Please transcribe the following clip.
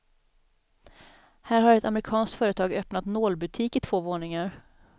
Här har ett amerikanskt företag öppnat nålbutik i två våningar.